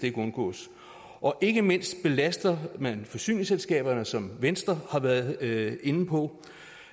ikke undgås og ikke mindst belaster man forsyningsselskaberne som venstre har været inde på